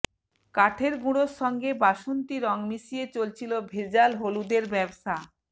কাঠের গুড়োর সঙ্গে বাসন্তি রং মিশিয়ে চলছিল ভেজাল হলুদের ব্যবসা